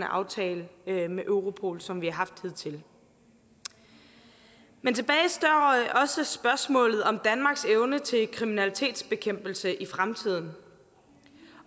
aftale med europol som vi har haft hidtil men tilbage står også spørgsmålet om danmarks evne til kriminalitetsbekæmpelse i fremtiden